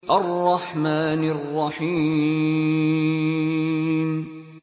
الرَّحْمَٰنِ الرَّحِيمِ